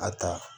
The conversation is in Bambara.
A ta